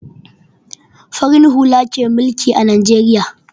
Farin hula ke mulki a Najeriya.